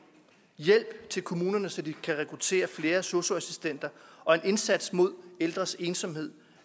hjælp til kommunerne så de kan rekruttere flere sosu assistenter og en indsats mod ældres ensomhed